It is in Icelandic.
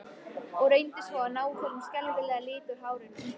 Og reyndu svo að ná þessum skelfilega lit úr hárinu!